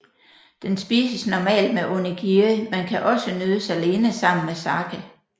Den spises normalt med onigiri men kan også nydes alene sammen med sake